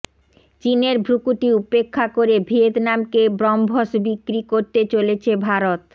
চিনের ভ্রুকুটি উপেক্ষা করে ভিয়েতনামকে ব্রহ্মস বিক্রি করতে চলেছে ভারত